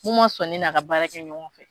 K'u ma sɔn ne n'a ka baarakɛ ɲɔgɔn fɛ.